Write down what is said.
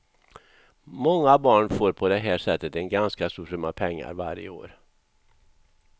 Många barn får på det här sättet en ganska stor summa pengar varje år.